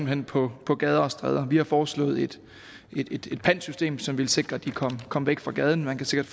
hen på på gader og stræder vi har foreslået et pantsystem som ville sikre at de kom kom væk fra gaden man kan sikkert